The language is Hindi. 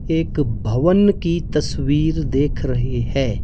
एक भवन की तस्वीर देख रहे है।